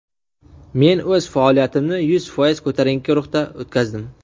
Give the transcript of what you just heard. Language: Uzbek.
Men o‘z faoliyatimni yuz foiz ko‘tarinki ruhda o‘tkazdim.